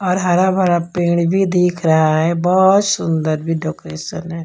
और हरा भरा पेड़ भी दिख रहा है बहोत सुंदर भी डेकोरेशन है।